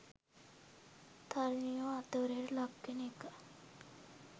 තරුණියෝ අතවරයට ලක් වෙන එක